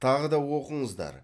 тағы да оқыңыздар